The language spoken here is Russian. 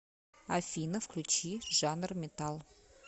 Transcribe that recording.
афина включи жанр метал